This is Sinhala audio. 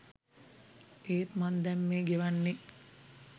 ඒත් මං දැන් මේ ගෙවන්නෙ